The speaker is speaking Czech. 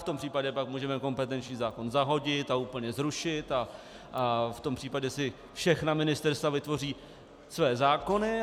V tom případě pak můžeme kompetenční zákon zahodit a úplně zrušit a v tom případě si všechna ministerstva vytvoří své zákony.